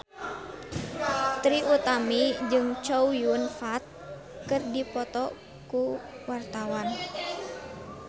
Trie Utami jeung Chow Yun Fat keur dipoto ku wartawan